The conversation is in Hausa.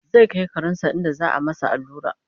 zai Kai karensa inda za'a masa allura